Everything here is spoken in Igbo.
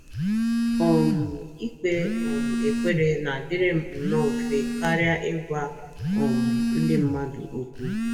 um Ikpe um ekpere na - adịrị m nnọọ mfe karịa ịgwa um ndị mmadụ okwu.